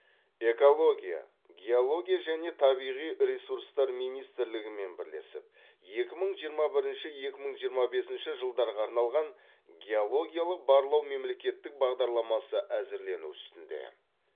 экология геология және табиғи ресурстар министрлігімен бірлесіп екі мың жиырма бірінші екі мың жиырма бесінші жылдарға арналған геологиялық барлау мемлекеттік бағдарламасы әзірлену үстінде